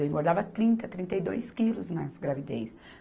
Eu engordava trinta, trinta e dois quilos nas gravidez.